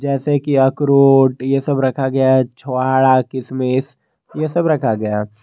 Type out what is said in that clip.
जैसे कि अखरोट यह सब रखा गया है छुहारा किशमिश यह सब रखा गया।